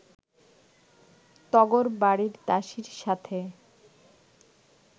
তগোর বাড়ির দাসীর সাথে